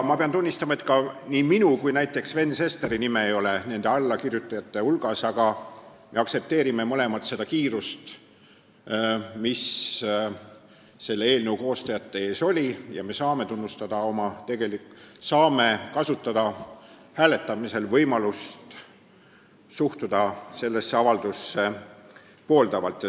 Ma pean tunnistama, et ei minu ega ka näiteks Sven Sesteri nime pole allakirjutajate hulgas, aga me mõlemad aktsepteerime seda kiirust, mis eelnõu koostajatel oli, ning saame kasutada hääletamisel võimalust suhtuda sellesse avaldusse pooldavalt.